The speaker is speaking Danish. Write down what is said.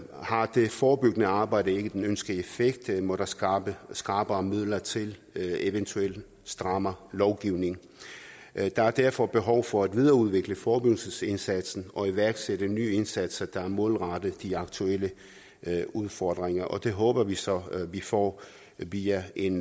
det forebyggende arbejde ikke den ønskede effekt må der skrappere skrappere midler til eventuelt strammere lovgivning der er derfor behov for at videreudvikle forebyggelsesindsatsen og iværksætte nye indsatser der er målrettet de aktuelle udfordringer og det håber vi så at vi får via en